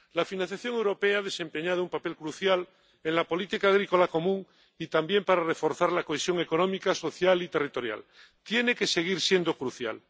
La financiación europea ha desempeñado un papel crucial en la política agrícola común y también para reforzar la cohesión económica, social y territorial. Tiene que seguir siendo crucial.